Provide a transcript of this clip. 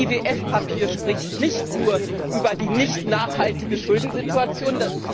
Das IWF Papier spricht nicht nur über die nicht nachhaltige Schuldensituation.